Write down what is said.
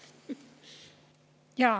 Aitäh!